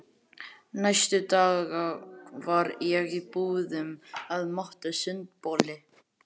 Næstu daga var ég í búðum að máta sundboli.